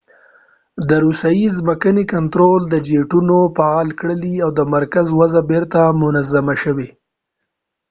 د روسیې ځمکني کنترول جیټونه فعاله کړل او د مرکز وضع بیرته منظمه شوه